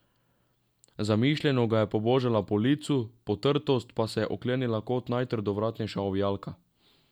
Zamišljeno ga je pobožala po licu, potrtost pa se je je oklenila kot najtrdovratnejša ovijalka.